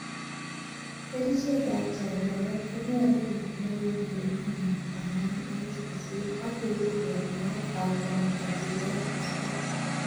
Kerichek ab chanchanet konyolu kekonor en ele mi maat 4-8c,akeerib en maat ak komotokyige asista.